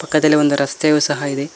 ಪಕ್ಕದಲ್ಲಿ ಒಂದು ರಸ್ತೆಯು ಸಹ ಇದೆ.